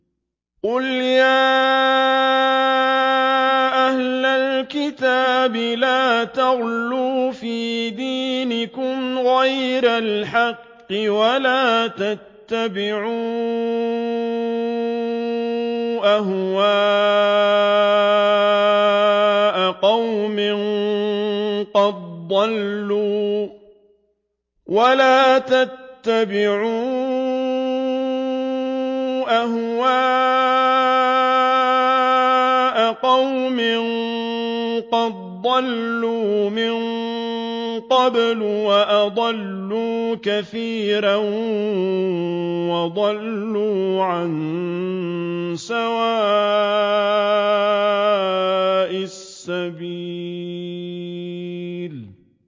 قُلْ يَا أَهْلَ الْكِتَابِ لَا تَغْلُوا فِي دِينِكُمْ غَيْرَ الْحَقِّ وَلَا تَتَّبِعُوا أَهْوَاءَ قَوْمٍ قَدْ ضَلُّوا مِن قَبْلُ وَأَضَلُّوا كَثِيرًا وَضَلُّوا عَن سَوَاءِ السَّبِيلِ